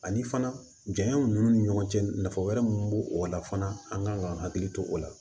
Ani fana janya ninnu ni ɲɔgɔn cɛ nafa wɛrɛ minnu b'o o la fana an kan ka hakili to o la